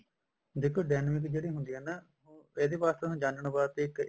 ਦੇਖੋ dynamic ਜਿਹੜੀ ਹੁੰਦੀ ਆ ਨਾ ਇਹਦੇ ਵਾਸਤੇ ਜਾਣਨ ਵਾਸਤੇ ਤੇ